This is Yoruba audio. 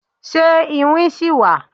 Ṣe iwin ṣi wa